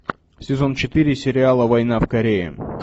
сезон четыре сериала война в корее